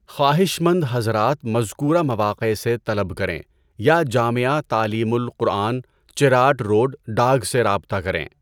خواہش مند حضرات مذکورہ مواقع سے طلب کریں یا جامعہ تعلیم القرآن چراٹ روڈ ڈاگ سے رابطہ کریں۔